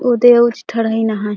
उ दे होस्टल हे नहाए --